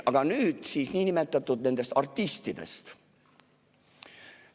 Aga nüüd siis nendest niinimetatud artistidest.